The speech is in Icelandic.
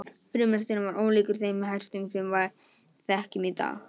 Frumhesturinn var ólíkur þeim hestum sem við þekkjum í dag.